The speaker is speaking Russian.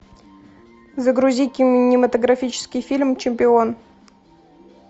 загрузи кинематографический фильм чемпион